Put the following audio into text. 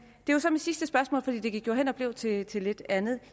er så mit sidste spørgsmål for det gik jo hen og blev til til lidt andet